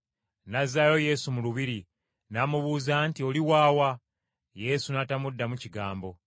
N’azzaayo Yesu mu lubiri, n’amubuuza nti, “Oli wa wa?” Yesu n’atamuddamu kigambo.